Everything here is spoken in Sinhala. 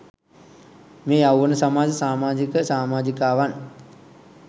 මේ යෞවන සමාජ සාමාජික සාමාජිකාවන්.